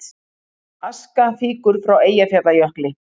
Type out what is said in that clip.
Aska fýkur frá Eyjafjallajökli